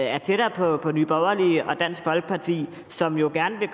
er tættere på nye borgerlige og dansk folkeparti som jo gerne vil